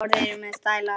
Orðin eru með stæla.